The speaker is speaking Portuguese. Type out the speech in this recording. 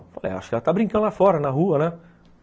Falei, acho que ela está brincando lá fora, na rua, né?